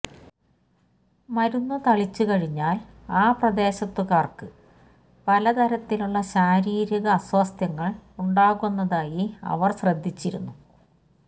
മരുന്നു തളിച്ചു കഴിഞ്ഞാൽ ആ പ്രദേശത്തുകാർക്ക് പലതരത്തിലുള്ള ശാരീരിക അസ്വാസ്ഥ്യങ്ങൾ ഉണ്ടാകുന്നതായി അവർ ശ്രദ്ധിച്ചിരുന്നു